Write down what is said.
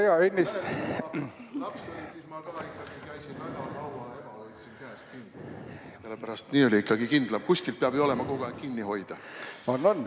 Sellepärast, et nii on ikkagi kindlam, kuskilt peab ju olema kogu aeg kinni hoida.